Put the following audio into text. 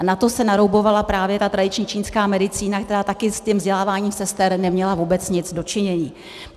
A na to se naroubovala právě ta tradiční čínská medicína, která také s tím vzděláváním sester neměla vůbec nic do činění.